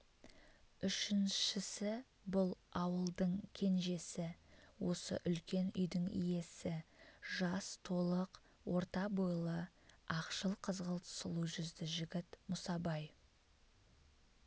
үшіншісі бұл ауылдың кенжесі осы үлкен үйдің иесі жас толық орта бойлы ақшыл қызғылт сұлу жүзді жігіт мұсабай